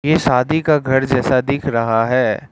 ये शादी का घर जैसा दिख रहा है।